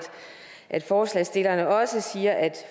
at forslagsstillerne også siger at